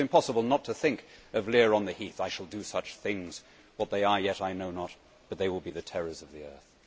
It was impossible not to think of Lear on the heath I will do such things what they are, yet I know not but they shall be the terrors of the earth'.